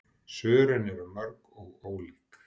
Svörin eru mörg og ólík.